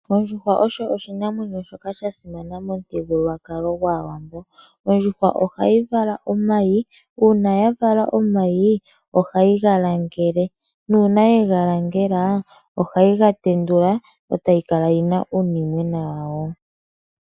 Ondjuhwa oyo oshinamwenyo shoka shasimana momuthigululwakalo gwaawambo, ondjuhwa ohayi vala omayi uuna yavala omayi, hayi galagele, nuuna yegalangela ohayi gatendula etayi kala yina uunimwena wawo.